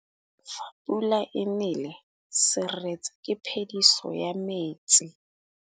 Fa pula e nelê serêtsê ke phêdisô ya metsi.